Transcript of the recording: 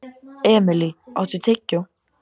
Emilý, áttu tyggjó?